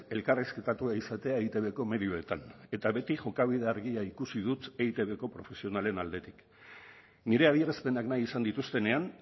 elkarrizketatua izatea eitbko medioetan eta beti jokabide argia ikusi dut eitbko profesionalen aldetik nire adierazpenak nahi izan dituztenean